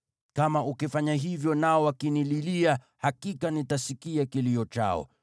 Kama ukifanya hivyo nao wakinililia, hakika nitasikia kilio chao.